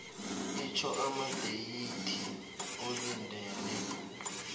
itjho amadeyithi olindele